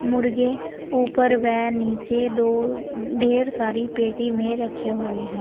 मुर्गे ऊपर व नीचे दो ढेर सारी पेटी में रखे हुए हैं।